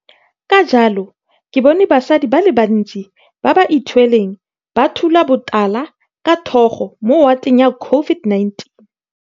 Ka jalo ke bone basadi ba le bantsi ba ba ithweleng ba thula botala ka thogo mo wateng ya COVID19.